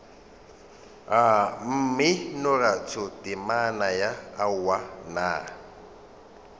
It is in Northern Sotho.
mminoratho temana ya aowa nna